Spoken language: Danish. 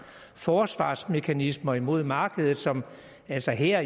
forsvarsmekanismer imod markedet som altså her